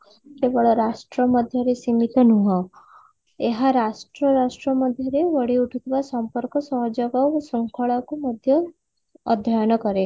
କେବଳ ରାଷ୍ଟ୍ର ମଧ୍ୟରେ ସୀମିତ ନୁହଁ ଏହା ରାଷ୍ଟ୍ର ରାଷ୍ଟ୍ର ମଧ୍ୟରେ ଗଢି ଉଠୁଥିବା ସମ୍ପର୍କ ସହଯୋଗ ଓ ଶୃଙ୍ଖଳା କୁ ମଧ୍ୟ ଅଧ୍ୟୟନ କରେ